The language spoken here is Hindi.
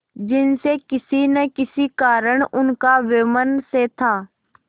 जिनसे किसी न किसी कारण उनका वैमनस्य था